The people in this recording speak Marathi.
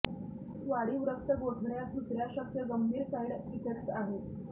वाढीव रक्त गोठण्यास दुसर्या शक्य गंभीर साइड इफेक्ट्स आहे